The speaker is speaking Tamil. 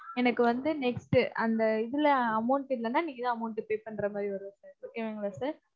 எனக்கு வந்து next அந்த இதுல amount இல்லன்னா நீங்கதான் amount pay பண்ற மாதிரி வரும் sir okay வாங்களா sir?